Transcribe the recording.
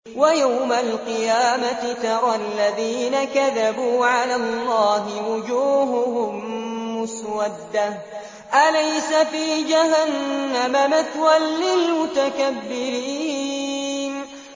وَيَوْمَ الْقِيَامَةِ تَرَى الَّذِينَ كَذَبُوا عَلَى اللَّهِ وُجُوهُهُم مُّسْوَدَّةٌ ۚ أَلَيْسَ فِي جَهَنَّمَ مَثْوًى لِّلْمُتَكَبِّرِينَ